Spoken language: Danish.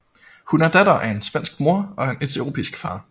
Hun er datter af en svensk mor og en etiopisk far